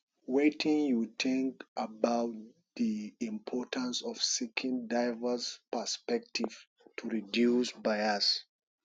wetin you think about di importance of seeking diverse perspectives to reduce bias